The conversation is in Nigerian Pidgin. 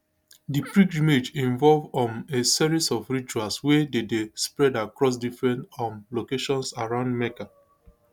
di pilgrimage involve um a series of rituals wey dey dey spread across different um locations around mecca